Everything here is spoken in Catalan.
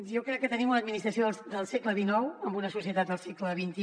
jo crec que tenim una administració del segle xix en una societat del segle xxi